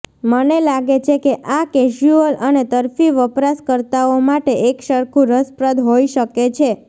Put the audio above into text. મને લાગે છે કે આ કેઝ્યુઅલ અને તરફી વપરાશકર્તાઓ માટે એકસરખું રસપ્રદ હોઈ શકે છે